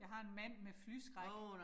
Jeg har en mand med flyskræk